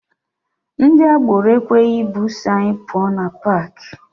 Ndị agboro ekweghị bụsụ anyị pụọ na paakị.